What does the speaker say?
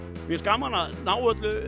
mér finnst gaman að ná öllu